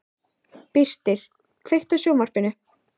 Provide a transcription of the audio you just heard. Birtir, kveiktu á sjónvarpinu.